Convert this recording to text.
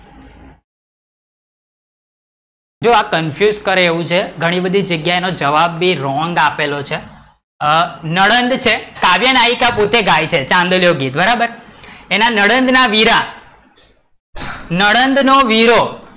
જો આ કરે confuse એવું છે ઘણી બધી જગ્યા નો જવાબ ભી wrong આપેલો છે અ નણંદ છે કાવ્યનાયિકા પોતે ગાય છે ચાંદલિયો ગીત બરાબર એના નણંદ ના વીરા, નણંદ નો વીરો,